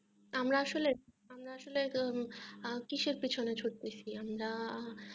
আমরা আসলে আমরা আসলে কিসের পিছনে ছুটছি আমরা